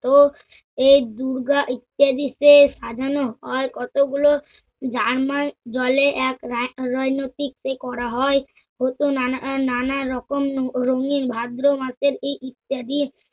ও এই দুর্গা সাজানো হয় কতগুলো রান্নার জলে এক রা~ রোইনটিকতে করা হয়। ও তো নানা আহ নানারকম রঙিন ভাদ্র মাসের এই ইত্যাদি